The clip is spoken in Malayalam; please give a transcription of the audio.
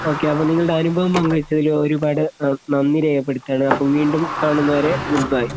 ഓക്കേ അപ്പൊ നിങ്ങളടെ അനുഭവഓ പങ്കു വെച്ചതില് ഒരുപാട് നന്ദി രേഖപ്പെടുത്താണ് അപ്പോ വീണ്ടും കാണുന്നവരെ ഗുഡ് ബൈ.